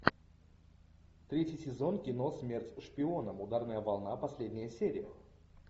третий сезон кино смерть шпионам ударная волна последняя серия